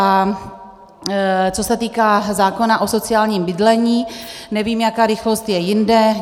A co se týká zákona o sociálním bydlení, nevím, jaká rychlost je jinde.